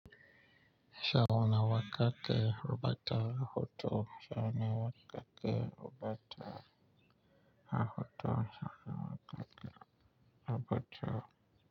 Sauna wa ka ke rubuta hoto. Sauna wa ka ke rubuta hoto. Shauna wa ka ke ruɓata.